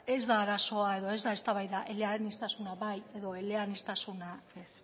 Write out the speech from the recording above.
ez da arazoa edo ez da eztabaida eleaniztasuna bai edo eleaniztasuna ez